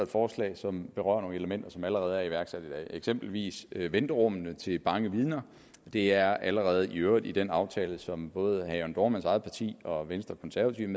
forslag som berører nogle elementer som allerede er iværksat i dag eksempelvis venterummene til bange vidner det er allerede i øvrigt i den aftale som både herre jørn dohrmanns eget parti og venstre og konservative